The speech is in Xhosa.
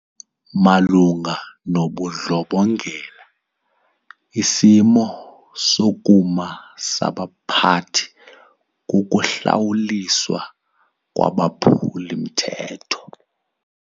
Malunga nobundlobongela isimo sokuma sabaphathi kukuhlawuliswa kwabaphuli-mthetho.